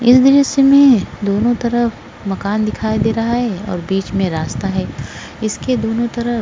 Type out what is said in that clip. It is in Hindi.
इस दॄश्य में दोनों तरफ मकान दिखायी दे रहा है और बीच में रास्ता है इसके दोनों तरफ --